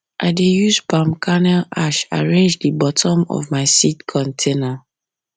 i dey use palm kernel ash arrange the bottom of my seed container